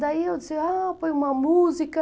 Daí eu disse, ah, põe uma música.